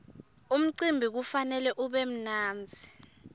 umcimbi kufanele ube mnandzi